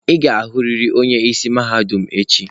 Ị ga-ahụrịrị onye isi mahadum echi.